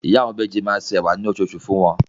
Ìyá àwọn ìbejì máa se ẹ̀wà ní oṣooṣù fún wọn.